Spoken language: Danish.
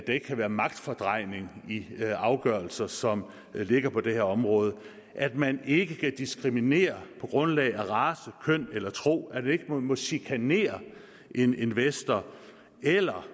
ikke kan være magtfordrejning i afgørelser som ligger på det her område at man ikke kan diskriminere på grundlag af race køn eller tro at man ikke må chikanere en investor eller